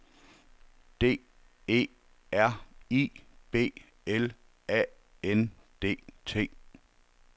D E R I B L A N D T